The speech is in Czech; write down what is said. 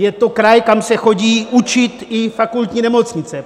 Je to kraj, kam se chodí učit i fakultní nemocnice.